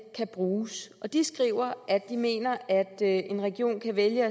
kan bruges de skriver at de mener at en region kan vælge